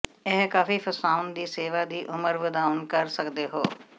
ਇਹ ਕਾਫ਼ੀ ਫਸਾਉਣ ਦੀ ਸੇਵਾ ਦੀ ਉਮਰ ਵਧਾਉਣ ਕਰ ਸਕਦੇ ਹੋ